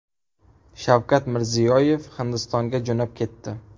Shavkat Mirziyoyev Hindistonga jo‘nab ketdi.